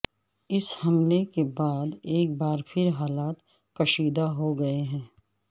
اس حملے کے بعد ایک بار پھر حالات کشیدہ ہوگئے ہیں